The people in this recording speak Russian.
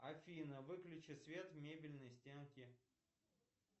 афина выключи свет в мебельной стенке